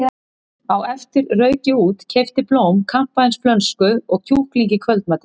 Á eftir rauk ég út, keypti blóm, kampavínsflösku og kjúkling í kvöldmatinn.